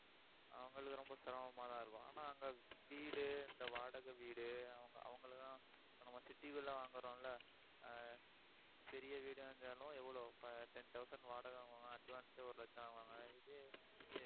அவங்களுக்கு ரொம்ப சிரமமாதான் இருக்கும். ஆனா அங்க வீடு இந்த வாடகை வீடு, அவங்க~ அவங்களைதான் இப்ப நம்ம city க்குள்ள வாங்கறோம் இல்ல ஆஹ் சிறிய வீடா இருந்தாலும் எவ்வளவு ten thousand வாடகை வாங்குவாங்க advance ஏ ஒரு லட்சம் வாங்குவாங்க. இதே~ இதே